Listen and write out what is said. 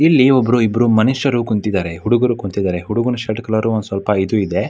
ಇಲ್ಲಿ ಒಬ್ಬರೋ ಇಬ್ಬರೋ ಮನುಷ್ಯರು ಕುಂತಿದ್ದರೆ ಹುಡುಗರು ಕುಂತಿದ್ದರೆ ಹುಡುಗನ ಶರ್ಟ್ ಕಲರ್ ಒಂದು ಸ್ವಲ್ಪ ಇದು ಇದೆ.